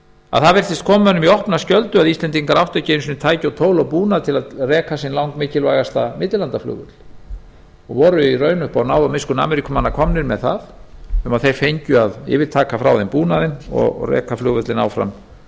að það virtist koma mönnum í opna skjöldu að íslendingar áttu ekki einu sinni tæki og tól og búnað til að reka sinn langmikilvægasta flugvöll og voru í raun upp á náð og miskunn ameríkumanna komnir með það að þeir fengju að yfirtaka frá þeim búnaðinn og reka flugvöllinn áfram